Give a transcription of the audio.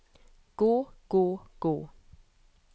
gå gå gå